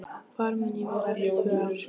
Hvar mun ég vera eftir tvö ár?